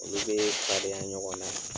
Olu bee fadenya ɲɔgɔn na